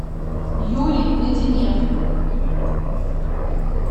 юрий плетенев